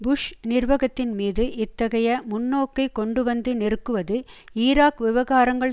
push நிர்வகத்தின் மீது இத்தகைய முன்னோக்கை கொண்டுவந்து நெருக்குவது ஈராக் விவகாரங்கள்